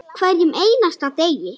Hverjum einasta degi.